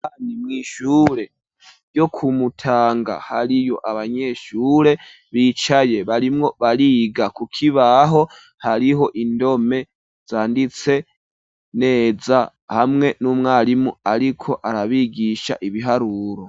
Ni mw'ishure, ryo ku Mutanga, hariyo abanyeshure, bicaye, barimwo bariga; ku kibaho, hariho indome zanditse neza, hamwe n'umwarimu, ariko arabigisha, ibiharuro.